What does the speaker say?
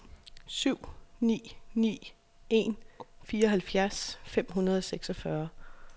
syv ni ni en fireoghalvfjerds fem hundrede og seksogfyrre